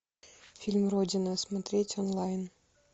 фильм родина смотреть онлайн